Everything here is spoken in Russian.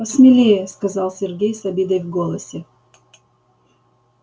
посмелее сказал сергей с обидой в голосе